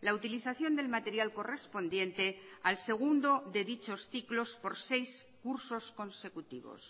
la utilización del material correspondiente al segundo de dichos ciclos por seis cursos consecutivos